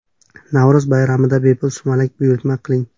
Navro‘z bayramida bepul sumalak buyurtma qiling!.